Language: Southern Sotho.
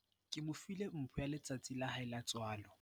ke mo file mpho ya letsatsi la hae la tswalo